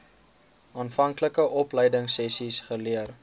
aanvanklike opleidingsessies geleer